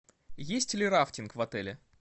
есть ли рафтинг в отеле